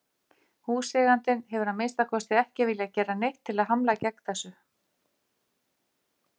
Húseigandinn hefur að minnsta kosti ekki viljað gera neitt til að hamla gegn þessu.